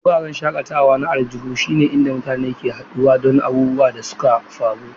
Wuraren shakatawa na aljihu sune inda mutane ke haɗuwa don abubuwan da suka faru.